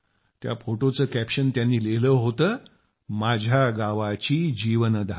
त्या फोटोचे कॅप्शन त्यांनी लिहिले होते माझ्या गावाची जीवनधारा